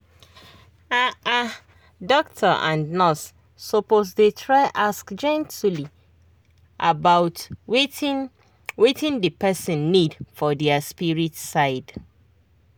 ah ah doctor and nurse suppose try ask gently about wetin wetin the person need for their spirit side.